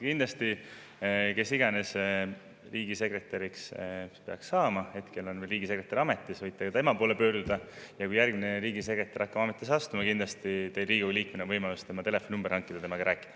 Aga kes iganes peaks riigisekretäriks saama – hetkel on riigisekretär veel ametis, võite ka tema poole pöörduda –, kui järgmine riigisekretär astub ametisse, siis kindlasti on teil Riigikogu liikmena võimalus hankida tema telefoninumber ja temaga rääkida.